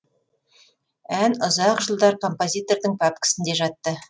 ән ұзақ жылдар композитордың пәпкісінде жатты